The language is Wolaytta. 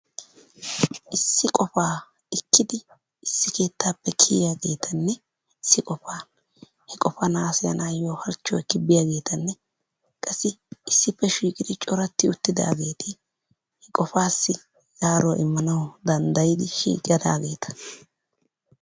Issi qopaa ichchidi issi keettaappe kiyiyaagetanne issi qopaa he qopaan hasayanayoo halchchuwaa ekki biyaagetanne qassi issippe shiiqqidi cooratti uttidaageti qopassi zaaruwaa immanawu danddayiidi shiiqqidaageta.